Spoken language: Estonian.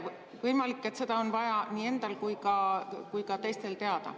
Võimalik, et seda on vaja nii endal kui ka teistel teada.